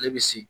Ale bɛ se